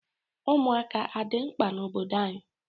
Ụmụaka adị mkpa n'obodo anyị?